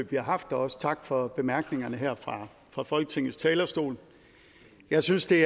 vi har haft og også tak for bemærkningerne her fra folketingets talerstol jeg synes det